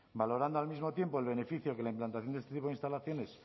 valorando al mismo tiempo el beneficio que la implantación de este tipo de instalaciones